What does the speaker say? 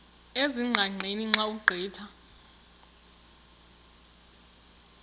ezingqaqeni xa ugqitha